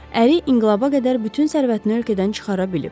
Əri inqilaba qədər bütün sərvətini ölkədən çıxara bilib.